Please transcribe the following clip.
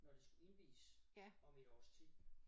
Når det skulle indviges om et års tid